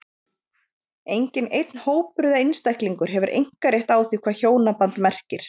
Enginn einn hópur eða einstaklingur hefur einkarétt á því hvað hjónaband merkir.